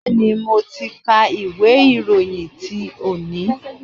Bẹ́ẹ̀ni, mo ti ka ìwé ìròyìn te ni